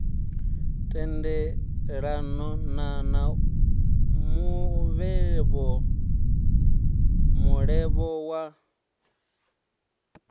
tendelana na mulevho mulevho wo